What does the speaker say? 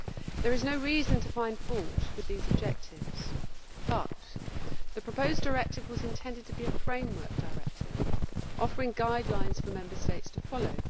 There is no reason to find fault with these objectives, but the proposed directive was intended to be a framework directive offering guidelines for Member States to follow.